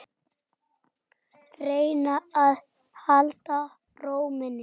Reyna að halda ró minni.